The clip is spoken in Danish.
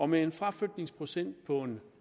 med en fraflytningsprocent på